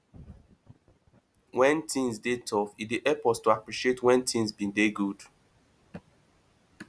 when things dey tough e dey help us to appreciate when things been dey good